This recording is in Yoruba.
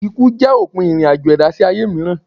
Ikú jẹ́ òpin ìrìn-àjò ẹ̀dá sí ayé mìíràn.